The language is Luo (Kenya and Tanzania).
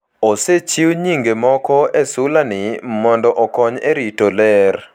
(Osechiw nyinge moko e sulani mondo okony e rito ler.)